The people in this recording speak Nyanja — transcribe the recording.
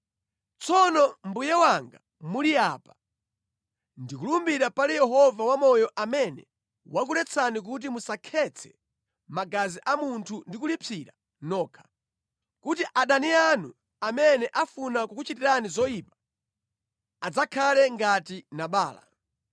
Tsono mbuye wanga muli apa, ndikulumbira pali Yehova wamoyo amene wakuletsani kuti musakhetse magazi a munthu ndi kulipsira nokha, kuti adani anu amene afuna kukuchitani zoyipa adzakhale ngati Nabala.